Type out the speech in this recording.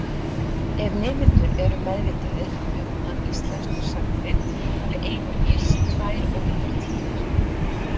Ef nemendur eru meðvitaðir um að íslenskar sagnir hafi einungis tvær ólíkar tíðir.